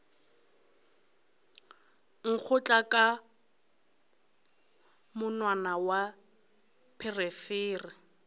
nkgotla ka monwana wa pherefere